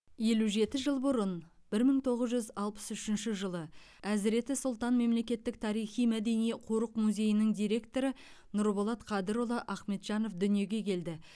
елу жеті жыл бұрын бір мың тоғыз жүз алпыс үшінші жылы әзіреті сұлтан мемлекеттік тарихи мәдени қорық музейінің директоры нұрболат қадырұлы ахметжанов дүниеге келді